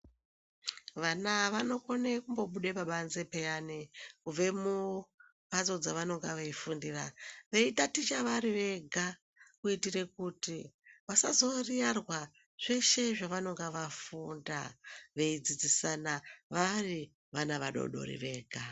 Vana vanokona kubuda pabanze piyani kubva kumbatso dzavanenge veifundira veitaticha vari Vega kuitira kuti vasariyarwa pazveshe zvavanenge vafunda veidzidzisana vari vana vadodori vega.